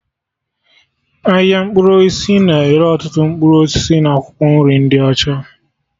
Ahịa mkpụrụ osisi na-ere ọtụtụ mkpụrụ osisi na akwụkwọ nri ndị ọcha